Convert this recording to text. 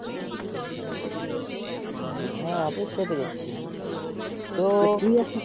হ্যাঁ তো সেতাই তো